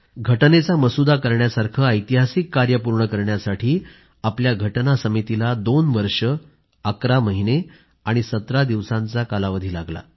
घटनेचा मसुदा करण्यासारखे ऐतिहासिक कार्य पूर्ण करण्यासाठी घटना समितीला दोन वर्ष अकरा महिने आणि 17 दिवसांचा कालावधी लागला